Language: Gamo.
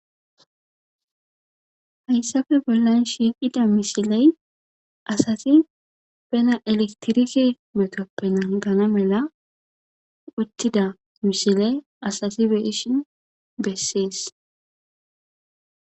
Hayssafe bollan shiiqida misiley asati bena elektirike metoppe nagana mela uttida misiley asati beishin bessees.